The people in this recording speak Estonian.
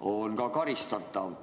on karistatav.